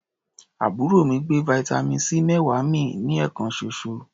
Àbúrò mi gbé vitamin C méwàá mì ní ẹ̀ẹ̀kan ṣoṣo.